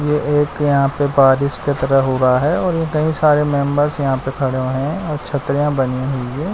यह एक यहां पे बारिश की तरह हो रहा है और ये कई सारे मेंबर्स यहां पे खड़े हुए हैं और छत्रियां बनी हुई है।